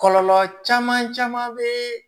Kɔlɔlɔ caman caman bɛ